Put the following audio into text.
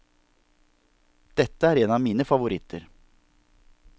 Dette er en av mine favoritter.